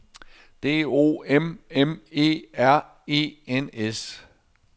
D O M M E R E N S